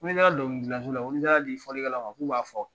Ko ni sera dɔnkili gilancogo la ko n'i taara di fɔlikɛlaw ma b'a fɔ.